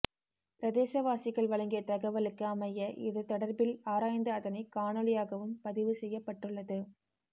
பிரதேசவாசிகள் வழங்கிய தகவலுக்கு அமைய இது தொடர்பில் ஆராய்ந்து அதனை காணொளியாகவும் பதிவு செய்யப்பட்டுள்ளது